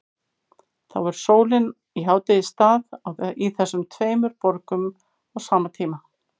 Þá er sólin í hádegisstað í þessum tveimur borgum á sama tíma.